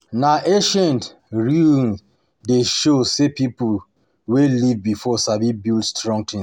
Na ancient ruins dey show say people wey live before sabi build strong things.